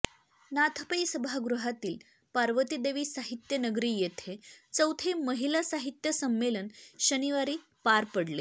नाथ पै सभागृहातील पार्वतीदेवी साहित्यनगरी येथे चौथे महिला साहित्य संमेलन शनिवारी पार पडले